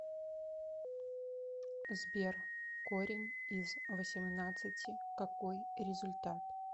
сбер корень из восемнадцати какой результат